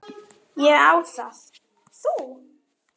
Ég á það. Þú?